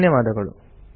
ಧನ್ಯವಾದಗಳು